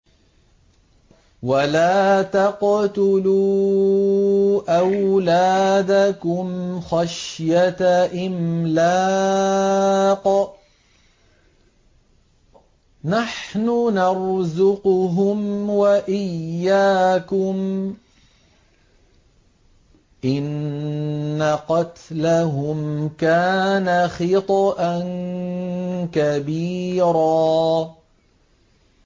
وَلَا تَقْتُلُوا أَوْلَادَكُمْ خَشْيَةَ إِمْلَاقٍ ۖ نَّحْنُ نَرْزُقُهُمْ وَإِيَّاكُمْ ۚ إِنَّ قَتْلَهُمْ كَانَ خِطْئًا كَبِيرًا